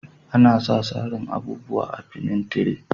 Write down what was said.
Ana sa sarin abubuwa a'finintire.